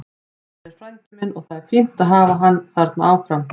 Andri er frændi minn og það er fínt að hafa hann þarna áfram.